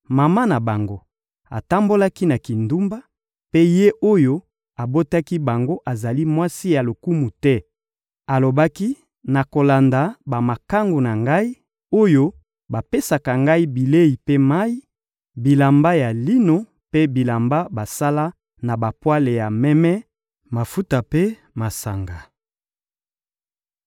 Mama na bango atambolaki na kindumba, mpe ye oyo abotaki bango azali mwasi ya lokumu te. Alobaki: «Nakolanda bamakangu na ngai, oyo bapesaka ngai bilei mpe mayi, bilamba ya lino mpe bilamba basala na bapwale ya meme, mafuta mpe masanga.»